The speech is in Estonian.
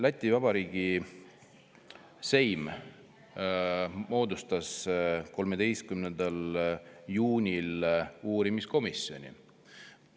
Läti Vabariigi seim moodustas 13. juunil uurimiskomisjoni.